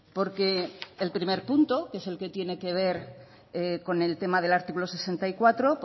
porque el primer punto que es el que tiene que ver con el tema del artículo sesenta y cuatro